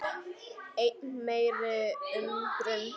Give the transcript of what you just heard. Enn meiri undrun